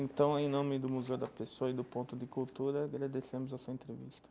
Então, em nome do Museu da Pessoa e do Ponto de Cultura, agradecemos a sua entrevista.